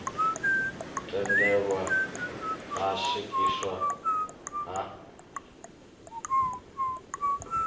tendelwa ha u swikiswa ha